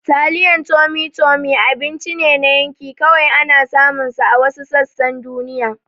Taliyan Tummy Tummy abinci ne na yanki, kawai ana samunsa a wasu sassan duniya